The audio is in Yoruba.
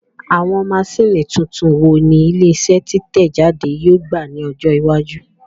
Àwọn maṣíìnì tuntun wo ni ilé iṣẹ́ títẹ̀ jáde yóò gbà ní ọjọ́ iwájú?